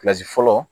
fɔlɔ